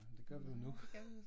Nej men det gør vi jo nu